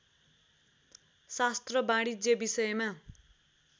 शास्त्र वाणिज्य विषयमा